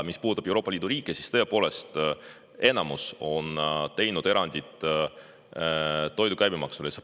Mis puudutab Euroopa Liidu riike, siis tõepoolest, enamus on teinud erandi toidu käibemaksule.